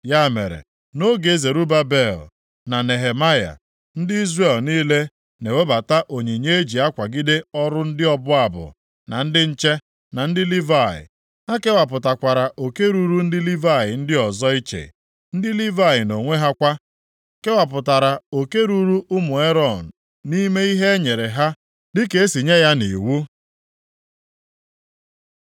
Ya mere, nʼoge Zerubabel na Nehemaya, ndị Izrel niile na-ewebata onyinye e ji akwagide ọrụ ndị ọbụ abụ, na ndị nche, na ndị Livayị. Ha kewapụtakwara oke ruru ndị Livayị ndị ọzọ iche, ndị Livayị nʼonwe ha kwa, kewapụtara oke ruru ụmụ Erọn nʼime ihe e nyere ha dịka e si nye ya nʼiwu.